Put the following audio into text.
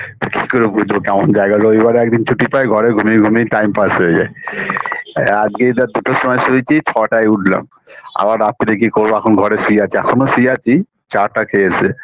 কি করে বুঝবো কেমন জায়গা রবিবারে একদিন ছুটি পাই ঘরে ঘুমিয়ে ঘুমিয়ে time pass হয়ে যায় আজকে ধর দুটোর সময় শুয়েছি ছটার উঠলাম আবার রাত্তিরে গিয়ে করব এখনও ঘরে শুয়ে আছি এখোনো শুয়ে আছি চা টা খেয়ে এসে